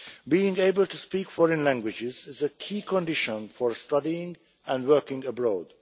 Being able to speak foreign languages is a key condition for studying and working abroad.